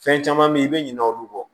Fɛn caman bɛ yen i bɛ ɲina olu kɔ